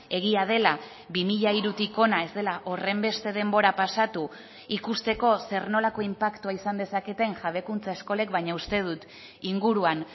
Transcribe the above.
egia dela bi mila hirutik hona ez dela horrenbeste denbora pasatu ikusteko zer nolako inpaktua izan dezaketen jabekuntza eskolek baina uste dut inguruan